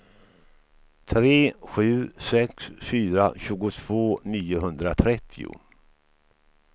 tre sju sex fyra tjugotvå niohundratrettio